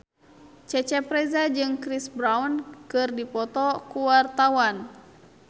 Cecep Reza jeung Chris Brown keur dipoto ku wartawan